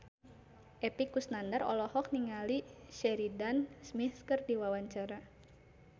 Epy Kusnandar olohok ningali Sheridan Smith keur diwawancara